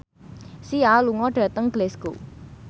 Sia lunga dhateng Glasgow